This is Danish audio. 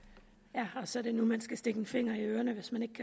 så er det nu man skal stikke en finger i ørerne hvis man